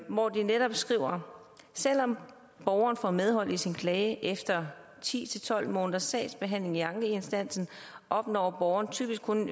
hvor de netop skriver selvom borgeren får medhold i sin klage efter ti til tolv måneders sagsbehandling i ankeinstansen opnår borgeren typisk kun en